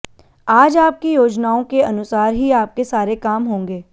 आज आपकी योजनाओं के अनुसार ही आपके सारे काम होंगे